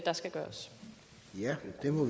der skal gøres her